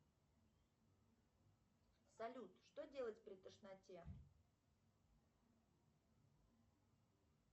салют что делать при тошноте